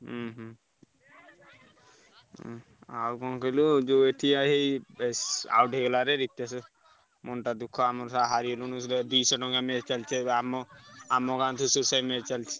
ହୁଁ ହୁଁ ଉଁ ଆଉ କଣ କହିଲୁ ଯୋଉ ଏଠି out ହେଇଗଲା ରେ ରିତେଶ ମନ ଟା ଦୁଃଖ ହାରିଗଲୁରେ match ଚାଲିଛି ଆମ ଆମ ଗାଁ match ଚାଲିଛି।